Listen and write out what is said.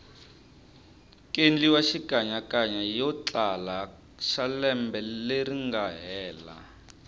kendliwa xikanyakanya yotlala xalembe leringa hela